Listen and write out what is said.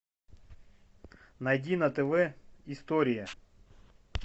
найди на тв история